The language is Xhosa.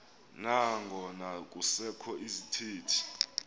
nangona kusekho izithethi